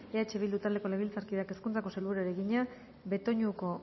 eh bildu taldeko legebiltzarkideak hezkuntzako sailburuari egina betoñuko